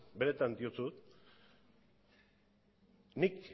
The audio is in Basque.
benetan diotsut nik